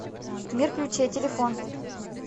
мир ключей телефон